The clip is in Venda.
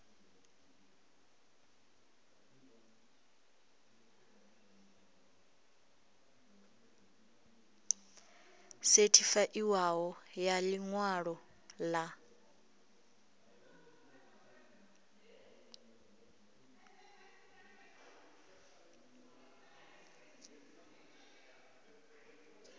sethifaiwaho ya ḽi ṅwalo ḽa